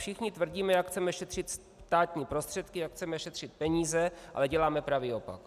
Všichni tvrdíme, jak chceme šetřit státní prostředky, jak chceme šetřit peníze, ale děláme pravý opak.